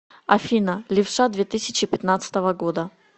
афина левша две тысячи пятнадцатого года